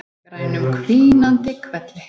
Í grænum hvínandi hvelli.